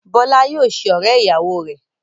Bọ́lá yóò ṣe ọ̀rẹ́-ìyàwọ rẹ.